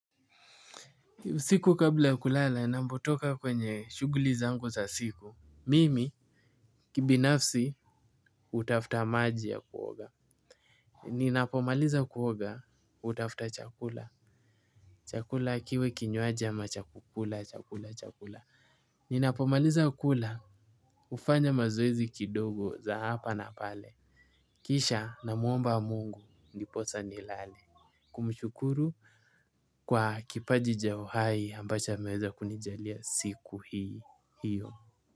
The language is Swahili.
Siku kabla ya kulala, napotoka kwenye shuguli zangu za siku. Mimi, kibinafsi, hutafuta maji ya kuoga. Ninapomaliza kuoga, hutafuta chakula. Chakula kiwe kinywaji ama, chakukula, chakula, chakula. Ninapomaliza kula, hufanya mazoezi kidogo za hapa na pale. Kisha na muomba mungu, ndiposa ni lale. Kumshukuru kwa kipaji ja uhai, ambacho ameweza kunijalia siku hii hiyo.